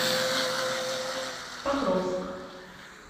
покровск